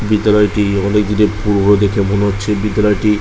বিদ্যালয়টি অনেক দিনের পুরোনো দেখে মনে হচ্ছে। বিদ্যালয়টি